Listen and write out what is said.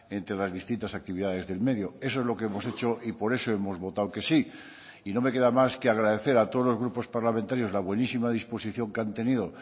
entre las distintas actividades del medio eso es lo que hemos hecho y por eso hemos votado que sí y no me queda más que agradecer a todos los grupos parlamentarios la buenísima disposición que han tenido